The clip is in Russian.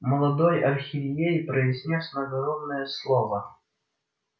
молодой архиерей произнёс надгробное слово